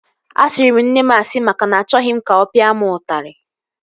Asịrị m nne m asị maka na achọghị m ka ọ pịa m ụtarị